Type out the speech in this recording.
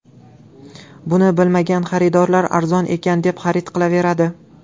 Buni bilmagan xaridorlar arzon ekan deb xarid qilaveradi.